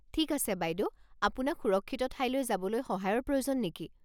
ঠিক আছে বাইদেউ, আপোনাক সুৰক্ষিত ঠাইলৈ যাবলৈ সহায়ৰ প্ৰয়োজন নেকি?